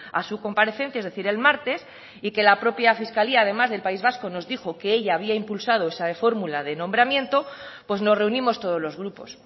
a su comparecencia es decir el martes y que la propia fiscalía del país vasco además nos dijo que ella había impulsado esa fórmula de nombramiento pues nos reunimos todos los grupos